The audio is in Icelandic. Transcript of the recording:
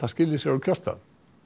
skili sér á kjörstað